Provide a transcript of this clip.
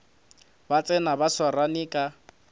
ba tsena ba swarane ka